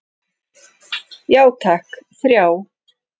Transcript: Já takk, þrjá.